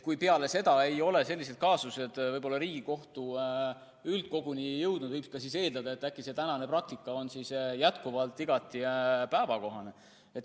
Kui peale seda ei ole selliseid kaasuseid Riigikohtu üldkoguni jõudnud, siis võib eeldada, et äkki tänane praktika on jätkuvalt igati päevakohane.